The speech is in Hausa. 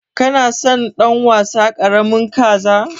Kana son dan wasa karamin kaza?